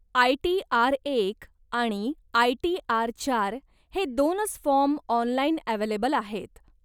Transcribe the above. I T R एक आणि I T R चार हे दोनच फॉर्म ऑनलाईन अव्हेलेबल आहेत.